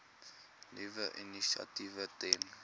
nuwe initiatiewe ten